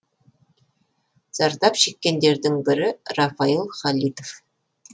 зардап шеккендердің бірі рафаил халитов